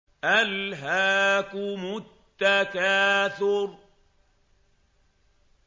أَلْهَاكُمُ التَّكَاثُرُ